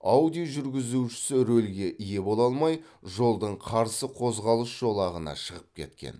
ауди жүргізушісі рөлге ие бола алмай жолдың қарсы қозғалыс жолағына шығып кеткен